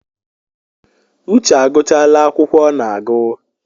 Uche agụchala akwụkwọ ọ na-agụ